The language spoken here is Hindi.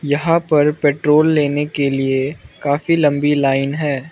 यहा पर पेट्रोल लेने के लिए काफी लंबी लाइन हैं।